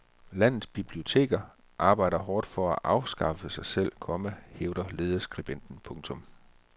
Landets biblioteker arbejder hårdt på at afskaffe sig selv, komma hævder lederskribenten. punktum